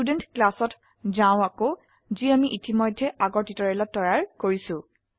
student ক্লাসত যাও আকৌ যি আমি ইতিমধ্যে আগৰ টিউটৰিয়ালত তৈয়াৰ কৰিছো